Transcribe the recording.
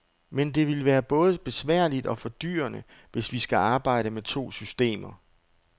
Men det vil både være besværligt og fordyrende, hvis vi skal arbejde med to systemer.